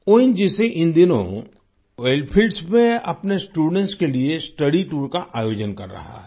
ONGC इन दिनों oil fields में अपने स्टूडेंट्स के लिए स्टडी टूर का आयोजन कर रहा है